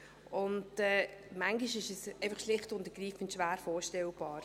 Und manchmal ist es einfach schlicht und ergreifend schwer vorstellbar.